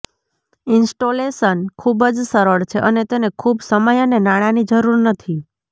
installation ખૂબ જ સરળ છે અને તેને ખૂબ સમય અને નાણાંની જરૂર નથી